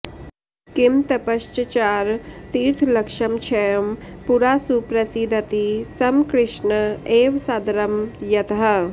किं तपश्चचार तीर्थलक्षमक्षयं पुरा सुप्रसीदति स्म कृष्ण एव सदरं यतः